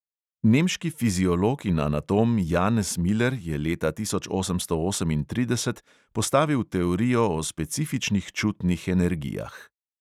Nemški fiziolog in anatom janez miler je leta osemnajststo osemintrideset postavil teorijo o specifičnih čutnih energijah.